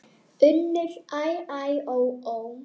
UNNUR: Æ, æ, ó, ó!